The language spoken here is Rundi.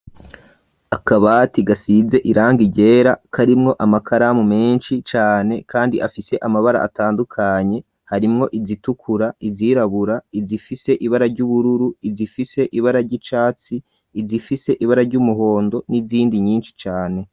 Akabati gasize irangi ryera karimwo amakaramu menshi cane, kandi afise amabara atandukanye harimwo izitukura ,izirabura ,izifise ibara ry'ubururu, izifise ibara ry'icatsi ,izifise ibara ry'umuhondo n'izindi nyinshi cane.